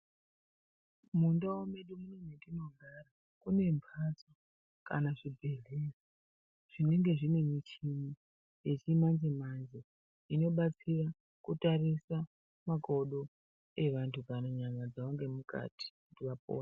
Mundau mwedu mwatinogara mune mhatso Kana zvibhedhleya zvinenge zvine michini yechimanje manje inobatsira kutarisa makodo evantu panyama dzawo ngemukati kuti vapore.